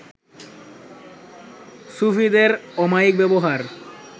সুফিদের অমায়িক ব্যবহার